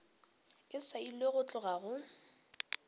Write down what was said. e swailwe go tloga go